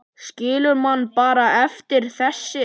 Skilur mann bara eftir, þessi.